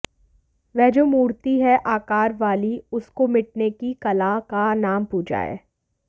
वह जो मूर्ति है आकार वाली उसको मिटने की कला का नाम पूजा है